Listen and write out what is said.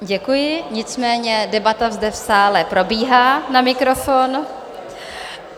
Děkuji, nicméně debata zde v sále probíhá na mikrofon.